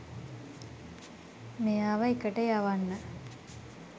මෙයාව එකට යවන්න